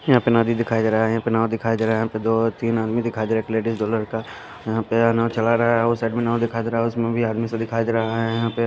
यहां पे नदी दिखाई दे रहा है यहां पर नाव दिखाई दे रहा है यहां पे दो तीन आदमी दिखाई दे रहा है एक लेडिज दो लड़का यहां पे ये नाव चला रहा है उस साइड में नाव दिखाई दे रहा है उसमें भी आदमी सब दिखाई दे रहा है यहां पे --